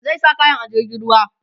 zai sa kayan a jirgin ruwa